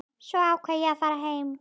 Svo ákvað ég að fara heim.